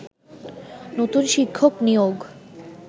নতুন শিক্ষক নিয়োগ